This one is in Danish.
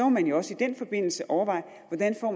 man jo også i den forbindelse overveje hvordan